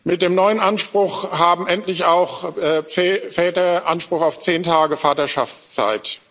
Mit dem neuen Anspruch haben endlich auch Väter Anspruch auf zehn Tage Vaterschaftszeit.